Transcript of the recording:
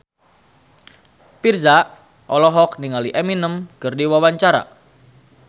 Virzha olohok ningali Eminem keur diwawancara